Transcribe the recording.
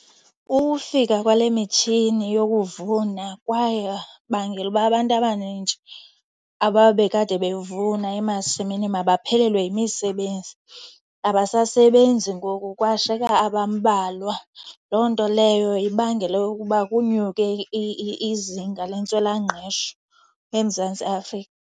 Ukufika kwale mitshini yokuvuna kwabangela uba abantu abanintshi ababekade bevuna emasimini mabaphelelwe yimisebenzi. Abasasebenzi ngoku kwashiyeka abambalwa. Loo nto leyo ibangele ukuba kunyuke izinga lentswelangqesho eMzantsi Afrika.